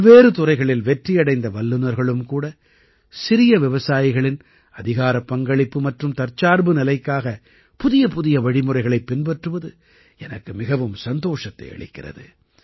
பல்வேறு துறைகளில் வெற்றியடைந்த வல்லுநர்களும் கூட சிறிய விவசாயிகளின் அதிகாரப் பங்களிப்பு மற்றும் தற்சார்பு நிலைக்காக புதியபுதிய வழிமுறைகளைப் பின்பற்றுவது எனக்கு மிகவும் சந்தோஷத்தை அளிக்கிறது